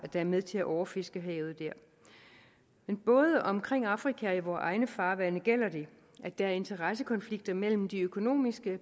er med til at overfiske i havet dér men både omkring afrika og i vore egne farvande gælder det at der er interessekonflikter mellem de økonomiske